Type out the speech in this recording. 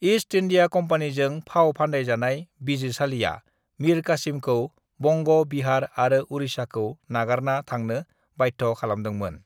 "East India कम्पानिजों फाव फानदाइजानाय बिजिरसालिया मिर कासिमखौ बंग', बिहार आरो उरिछाखौ नागारना थांनो बाध्य' खालामदोंमोन।"